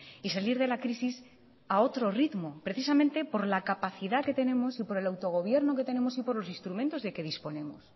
y salir de la crisis a otro ritmo precisamente por la capacidad que tenemos y por el autogobierno que tenemos y por los instrumentos de que disponemos